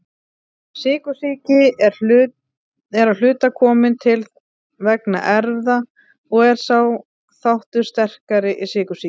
Sykursýki er að hluta komin til vegna erfða og er sá þáttur sterkari í sykursýki.